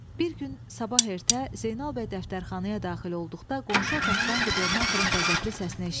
Bir gün sabah ertə Zeynal bəy dəftərxanaya daxil olduqda qonşu otaqdan qubernatorun qəzəbli səsini eşitdi.